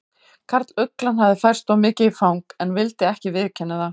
Karluglan hafði færst of mikið í fang en vildi ekki viðurkenna það.